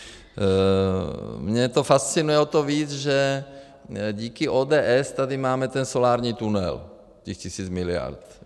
Mě to fascinuje o to víc, že díky ODS tady máme ten solární tunel, těch tisíc miliard.